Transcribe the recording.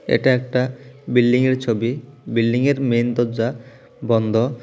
এটা একটা বিল্ডিংয়ের ছবি বিল্ডিংয়ের মেন দরজা বন্দ।